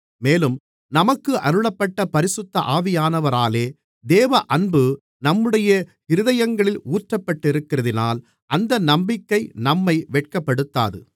மேலும் நமக்கு அருளப்பட்ட பரிசுத்த ஆவியானவராலே தேவ அன்பு நம்முடைய இருதயங்களில் ஊற்றப்பட்டிருக்கிறதினால் அந்த நம்பிக்கை நம்மை வெட்கப்படுத்தாது